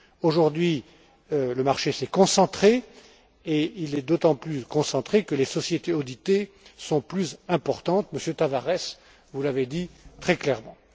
Aujourd'hui, il s'est concentré et il est d'autant plus concentré que les sociétés auditées sont plus importantes Monsieur Tavares, vous l'avez dit très clairement.